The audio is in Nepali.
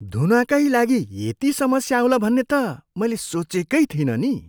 धुनाकै लागि यति समस्या आउला भन्ने त मैले सोचेकै थिइनँ नि!